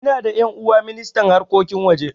Ina da ƴan'uwa ministan harkokin waje